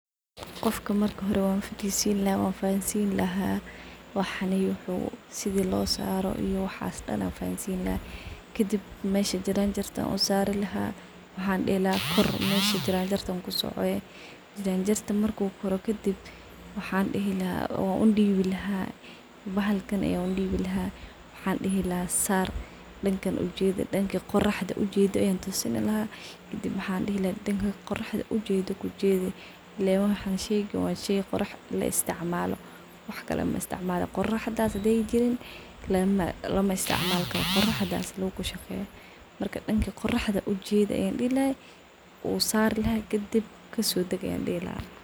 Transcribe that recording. Qofka marka hore wanfadisin lahaa wanfahansin waxaney uu sidi lo saro iyo waxs dan an fahansin lahaa, kadib mesha jaranjarta an usarlaah kadib waxaan dihi lahaa kor jaranjarta, kadib kusoco jarajarta, kadib marka kor ufusho danka qoraxda ujedi an dihi lahaa , aayo sheygan qorax ayuu isticmalaa , qoraxdha muhimad weyn ay ledahy , marka qoraxda in sifican logasojediyo waye uu sari laha kadib kasodag an dihi lahaa.